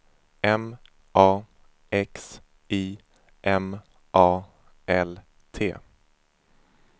M A X I M A L T